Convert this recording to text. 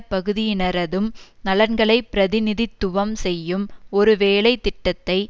பகுதியினரதும் நலன்களை பிரதிநிதித்துவம் செய்யும் ஒரு வேலை திட்டத்தை